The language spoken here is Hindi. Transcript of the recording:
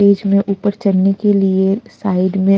स्टेज में ऊपर चढ़ने के लिए साइड में--